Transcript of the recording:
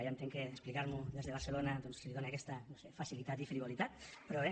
ja entenc que explicar m’ho des de barcelona doncs li dona aquesta no ho sé facilitat i frivolitat però bé